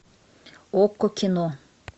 окко кино